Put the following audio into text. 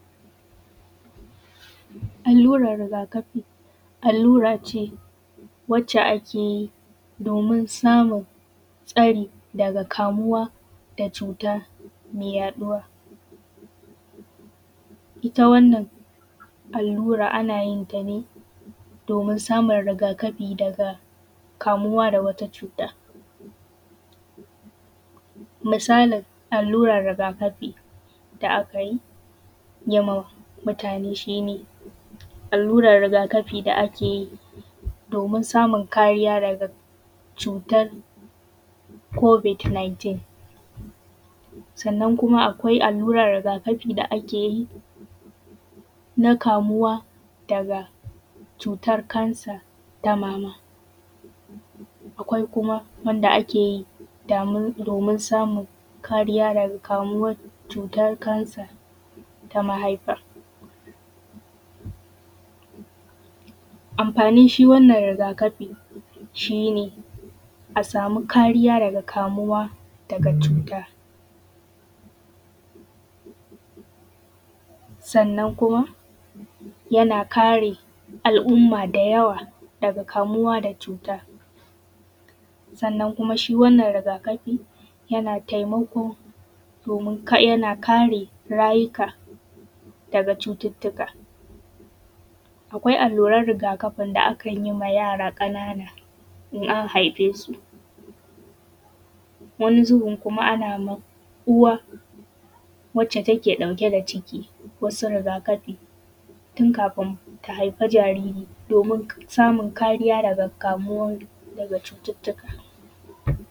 Alluran rigakafi. Allurace wadda ake yi domin samun tsari daga kamuwa da cuta me yaɗuwa, ita wannan allura ana yin ta ne domin samun rigakafi daga kamuwa da wata cuta, misalin alluran rigakafi da akan yi wa mutane shi ne, alluran rigakafi da ake yi domin samun kariya da cutan kobiot 19, sannan kuma akwai alluran rigakafi da ake yi na kamuwa daga cutan kansa na mama, akwai kuma wanda ake yi domin samun kariya daga kamuwan cutan kasa ta mahaifa. Amfanin shi wannan rigakafi shi ne a sama kariya daga kamuwa daga cuta, sannan kuma yana kare al’umma da yawa daga kamuwa da cutan, sannan kuma shi wannan rigakafi yana taimako domin yana kare rayuka daga cututtuka. Akwai alluran rigakafin da akan yi wa yara ƙanana in an haife su wani zubin ana ma uwa wacce take ɗauke da ciki, wasu rigakafi tun kafin ta haifi jariri domin samun kariya daga kamuwa da cututtuka.